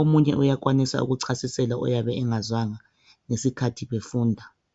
Omunye uyakwanisa ukuchasisela oyabe engazwanga ngesikhathi befunda.